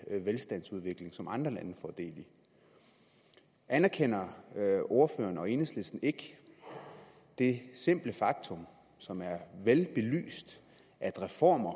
velstandsudvikling som andre lande får del i anerkender ordføreren og enhedslisten ikke det simple faktum som er velbelyst at reformer